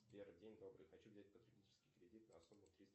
сбер день добрый хочу взять потребительский кредит на сумму триста